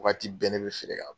Waati bɛɛ ne bɛ feere k'a bolo.